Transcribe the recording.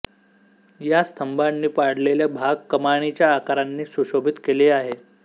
या स्तंभांनी पाडलेले भाग कमानीच्या आकारांनी सुशोभित केले आहेत